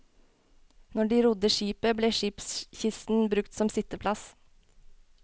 Når de rodde skipet, ble skipskisten brukt som sitteplass.